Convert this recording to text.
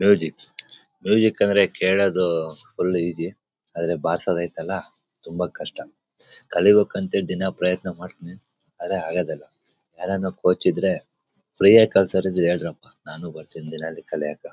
Music music ಅಂದ್ರೆ ಹೇಳೋದು full easy ಆದರೆ ಬರ್ಸೋದು ಐತ್ತೆ ಅಲ್ಲ ತುಂಬಾ ಕಷ್ಟ. ಕಲಿಬೇಕು ಅಂತ ಹೇಳಿ ದಿನ ಪ್ರಯತ್ನ ಮಾಡ್ತಾಯಿದೀನಿ ಆದ್ರೆ ಆಗೋದಿಲ್ಲ. ಯಾರ್ಯಾನ ನಮ್ ಕೋಚ್ ಇದ್ರೆ ಫ್ರೀ ಯಾಗಿ ಕಲಿಸುವವರು ಇದ್ರೆ ಹೇಳ್ರಪ್ಪ ನಾನು ಬರ್ತೀನಿ ದಿನಾಲೂ ಕಲಿಯಕ್ಕ.